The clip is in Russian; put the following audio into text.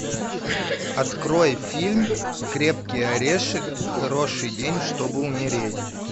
открой фильм крепкий орешек хороший день чтобы умереть